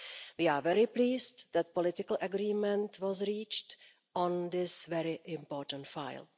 We are very pleased that political agreement was reached on this very important file.